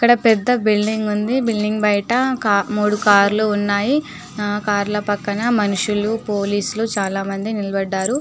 ఇక్కడ పెద్ద బిల్డింగ్ ఉందిబిల్డింగ్ బయట మూడు కార్ లు ఉన్నాయికార్ ల పక్కన మనుషులు పోలీసు లు చానా మంది నిలబడ్డారు